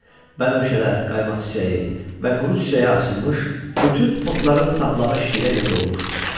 bənövşələr, qaymaq çiçəyi və quru çiçəyə açılmış bütün otların saplağı şirə ilə dolmuşdu.